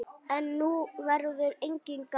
En nú verður enginn gamall.